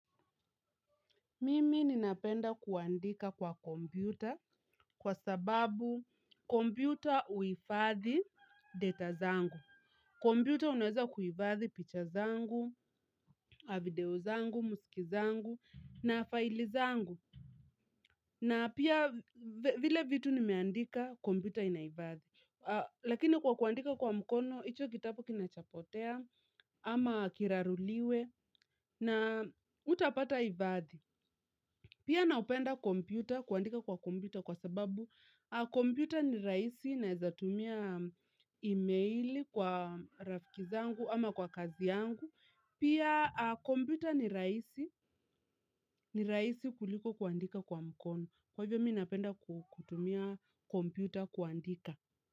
Mimi ninapenda kuandika kwa kompyuta kwa sababu kompyuta huifadhi data zangu. Kompyuta unweza kuivadhi picture zangu, video zangu, muziki zangu na file zangu. Na pia vile vitu nimeandika kompyuta inaivadhi. Lakini kwa kuandika kwa mukono, icho kitapu kinachapotea ama kiraruliwe na utapata ivadhi. Pia naupenda kompyuta kuandika kwa kompyuta kwa sababu kompyuta ni raisi na eza tumia emaili kwa rafikizangu ama kwa kazi yangu. Pia kompyuta ni raisi kuliko kuandika kwa mkono. Kwa hivyo mi napenda kutumia kompyuta kuandika.